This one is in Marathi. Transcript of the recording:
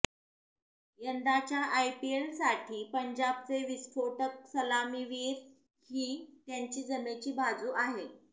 यंदाच्या आयपीलसाठी पंजाबचे विस्फोटक सलामीवीर ही त्यांची जमेची बाजू आहे